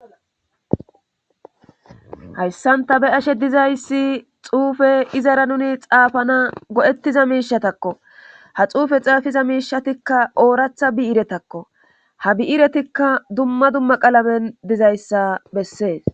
Hayssan ta be7ashe dizayssi xuufe izara nuni xaafana go7ethiza miishatako; ha xuufe xaafida miishshatikka ooratha bi7irethako;ha bi7iretikka dumma dumma qalameni dizayssa besses.